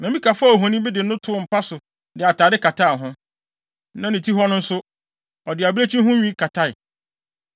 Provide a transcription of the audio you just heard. Na Mikal faa ohoni bi de no too mpa so de atade kataa ho, na ne ti hɔ no nso, ɔde abirekyi ho nwi katae.